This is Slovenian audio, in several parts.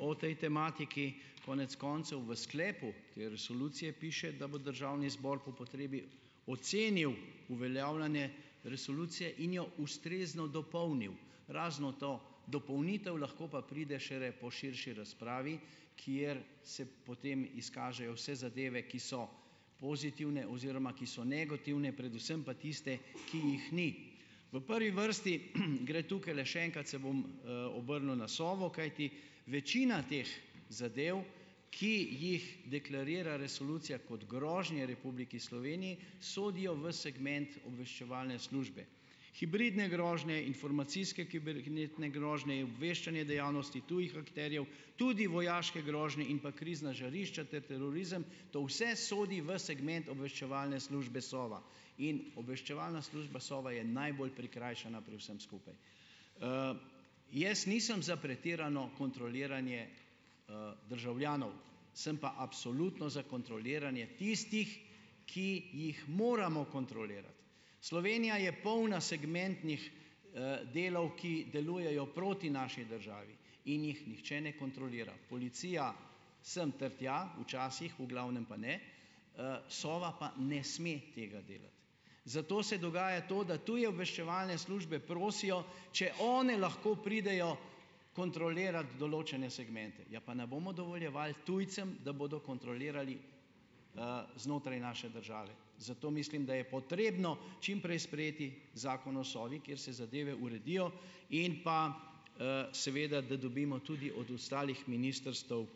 o tej tematiki. Konec koncev v sklepu te resolucije piše, da bo državni zbor po potrebi ocenil uveljavljanje resolucije in jo ustrezno dopolnil, razno to dopolnitev, lahko pa pride šele po širši razpravi, kjer se potem izkažejo vse zadeve, ki so pozitivne oziroma ki so negativne, predvsem pa tiste, ki jih ni. V prvi vrsti, gre tukaj, še enkrat se bom, obrnil na Sovo, kajti večina teh zadev, ki jih deklarira resolucija kot grožnje Republiki Sloveniji, sodijo v segment obveščevalne službe. Hibridne grožnje, informacijske kibernetne grožnje, obveščanje dejavnosti tujih akterjev, tudi vojaške grožnje in pa krizna žarišča ter terorizem, to vse sodi v segment obveščevalne službe Sova, in obveščevalna služba Sova je najbolj prikrajšana pri vsem skupaj. Jaz nisem za pretirano kontroliranje, državljanov, sem pa absolutno za kontroliranje tistih, ki jih moramo kontrolirati. Slovenija je polna segmentnih delov, ki delujejo proti naši državi in jih nihče ne kontrolira. Policija sem ter tja, včasih, v glavnem pa ne, Sova pa ne sme tega delati. Zato se dogaja to, da tuje obveščevalne službe prosijo, če one lahko pridejo kontrolirat določene segmente. Ja, pa ne bomo dovoljevali tujcem, da bodo kontrolirali, znotraj naše države? Zato mislim, da je potrebno čim prej sprejeti Zakon o Sovi, kjer se zadeve uredijo in pa, seveda, da dobimo tudi od ostalih ministrstev,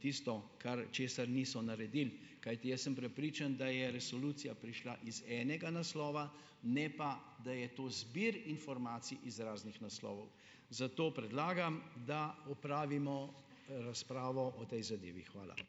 tisto, kar česar niso naredili, kajti jaz sem prepričan, da je resolucija prišla iz enega naslova, ne pa da je to zbir informacij iz raznih naslovov. Zato predlagam, da opravimo razpravo o tej zadevi. Hvala.